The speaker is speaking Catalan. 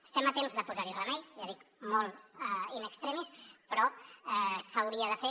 estem a temps de posar hi remei ja dic molt in extremis però s’hauria de fer